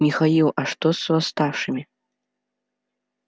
михаил а что с восставшими